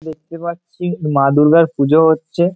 দেখতে পারছি মা দুর্গার পুজো হচ্ছে ।